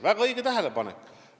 Väga õige tähelepanek!